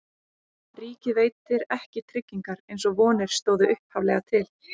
Ríkið veitir ekki tryggingar eins og vonir stóðu upphaflega til.